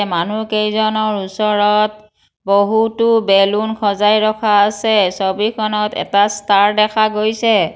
মানুহকেইজনৰ ওচৰত বহুতো বেলুন সজাই ৰখা আছে ছবিখনত এটা ষ্টাৰ দেখা গৈছে।